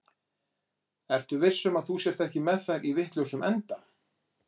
Ertu viss um að þú sért ekki með þær í vitlausum enda?